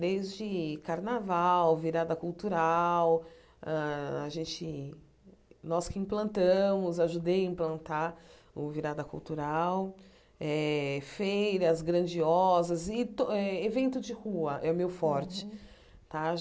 desde carnaval, virada cultural hã a gente, nós que implantamos, ajudei a implantar o virada cultural, eh feiras grandiosas e to eh evento de rua, é o meu forte. Tá